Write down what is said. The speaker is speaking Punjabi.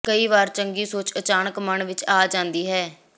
ਕਈ ਵਾਰ ਚੰਗੀ ਸੋਚ ਅਚਾਨਕ ਮਨ ਵਿਚ ਆ ਜਾਂਦੀ ਹੈ